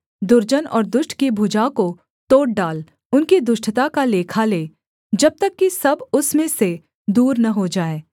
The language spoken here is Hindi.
दुर्जन और दुष्ट की भुजा को तोड़ डाल उनकी दुष्टता का लेखा ले जब तक कि सब उसमें से दूर न हो जाए